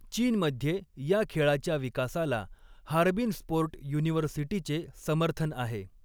चीनमध्ये या खेळाच्या विकासाला हार्बिन स्पोर्ट युनिव्हर्सिटीचे समर्थन आहे.